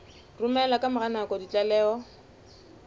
romela ka mora nako ditlaleho